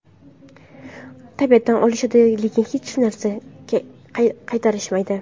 Tabiatdan olishadi, lekin unga hech narsa qaytarishmaydi.